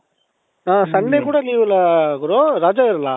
ಅ sunday ಕೂಡಾ leave ಇಲ್ವಾ ಗುರು ರಜಾ ಇರಲ್ಲ ?